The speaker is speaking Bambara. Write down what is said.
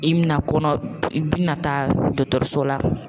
I bi na kɔnɔ i bi na taa dɔgɔtɔrɔso la